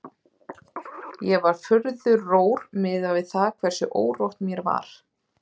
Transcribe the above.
Ég var furðu rór miðað við það hversu órótt mér var.